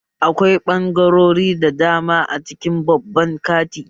Akwai ɓangarori da dama a cikin babban kanti